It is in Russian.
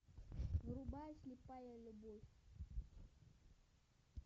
врубай слепая любовь